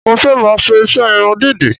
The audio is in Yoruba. Mo fẹ́ máa ṣe iṣẹ́ irun dídì